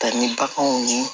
Ta ni baganw ye